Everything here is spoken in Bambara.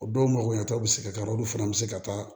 O dɔw magoyantaw bɛ se ka k'a la olu fana bɛ se ka taa